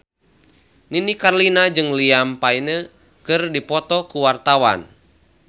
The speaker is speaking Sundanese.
Nini Carlina jeung Liam Payne keur dipoto ku wartawan